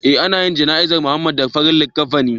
Eh an anyi jana izar Muhammad da farin likafani